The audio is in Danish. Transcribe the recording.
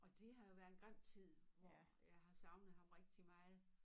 Og det har jo været en grim tid hvor jeg har savnet ham rigtig meget